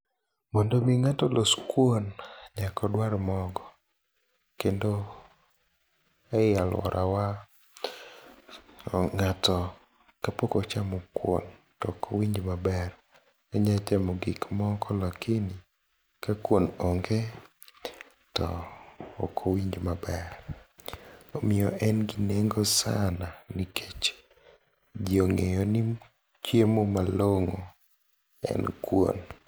mondo mi ng'ato olos kuon nyaka odwar mogo kendo ei aluorawa ng'ato kapok ochamo kuon tok owinj maber ,onyalo chamo gik moko lakini ka kuon ong'e to ok owinj maber ,omiyo en gi neng'o sana nikech ji ong'eyo ni chiemo malong'o en kuon.